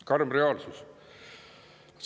Karm reaalsus!